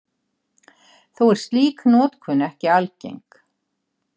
Þó er slík notkun ekki algeng.